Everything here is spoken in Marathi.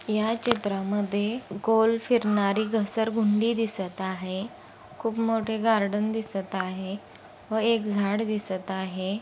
या चित्रामध्ये गोल फिरनारी घसरगुंडी दिसत आहे खूप मोठी गार्डन दिसत आहे व एक झाड दिसत आहे.